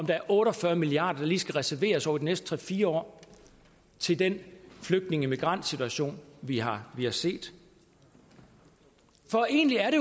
der er otte og fyrre milliard kr der lige skal reserveres over de næste tre fire år til den flygtninge og migrantsituation vi har set for egentlig er